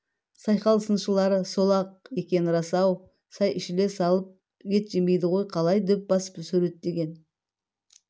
сайқал сыншылары сол-ақ екені рас-ау шай ішіле салып ет жемейді ғой қалай дөп басып суреттеген